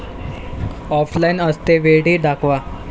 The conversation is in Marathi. ऑफलाइन असतेवेळी दाखवा